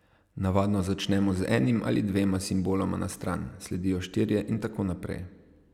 Navadno začnemo z enim ali dvema simboloma na stran, sledijo štirje in tako naprej.